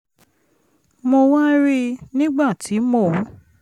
mo wá rí i nígbà tí mò ń